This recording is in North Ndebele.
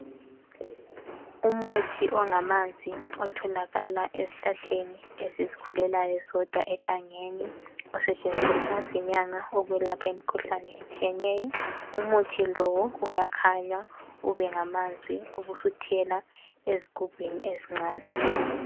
Umuthi ongamanzi otholakala ezihlahleni ezizikhulelayo zodwa egangeni zisetshenziswa zinyanga ukwelapha imkhuhlane etshiyeneyo umuthi lo uyakhanywa ube ngamanzi ubusuthelwa ezigubhini ezincane.